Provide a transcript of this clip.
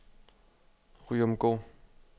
Ryomgård